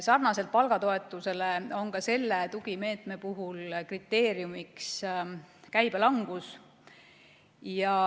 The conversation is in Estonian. Sarnaselt palgatoetusele on ka selle tugimeetme puhul kriteeriumiks käibelangus.